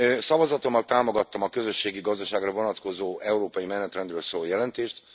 Szavazatommal támogattam a közösségi gazdaságra vonatkozó európai menetrendről szóló jelentést.